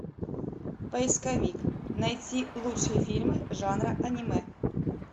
поисковик найти лучшие фильмы жанра анимэ